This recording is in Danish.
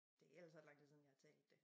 Det ellers ret lang tid siden jeg har talt det